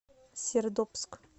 сердобск